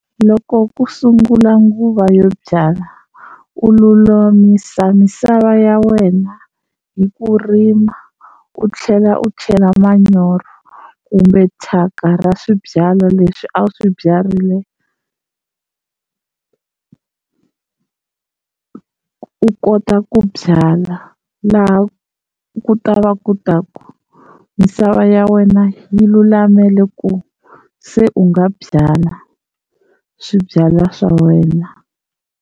Loko ku sungula nguva yo byala u lulamisa misava ya wena hi ku rima u tlhela u chela manyoro kumbe thyaka ra swibyala leswi a wu swi byarile u kota ku byala laha ku ta va ku ta ku misava ya wena yi lulamela ku se u nga byala swibyala swa wena.